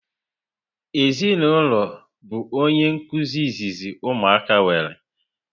Ezinụlọ bu onye nkụzi izizi ụmụaka nwere